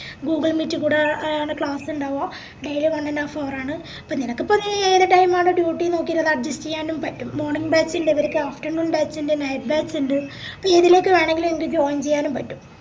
google meet കൂടെ a class ഇണ്ടാവുആ daily one and half hour ആണ്അപ്പൊ നിനക്കിപ്പോ ഈ ഏത് time ആണ് duty ന്നെല്ലാം നോക്കിറ്റെല്ലാം adjust ചെയ്യാനും പറ്റും morning batch ഇൻഡ് അവര്ക്ക് afternoon batch ഇൻഡ് night batch ഇൻഡ് പിന്നെഎതിലേക്ക് വേണെങ്കിലും join ചെയ്യാനും പറ്റും